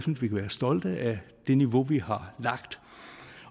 stolte af det niveau vi har lagt